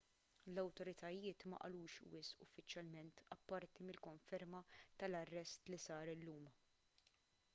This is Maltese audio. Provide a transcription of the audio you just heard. l-awtoritajiet ma qalux wisq uffiċjalment apparti mill-konferma tal-arrest li sar illum